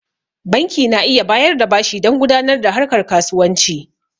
Banki na iya bayar da bashi dan gudanar da harkar kasuwanci